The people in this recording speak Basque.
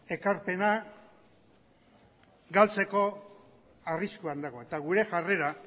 ekarpena galtzeko arriskuan dago eta gure jarrera